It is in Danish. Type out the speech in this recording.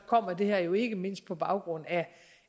kommer det her jo ikke mindst på baggrund